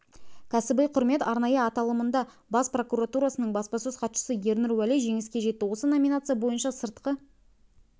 кәсіби құрмет арнайы аталымында бас прокуратурасының баспасөз хатшысы ернұр уәли жеңіске жетті осы номинация бойынша сыртқы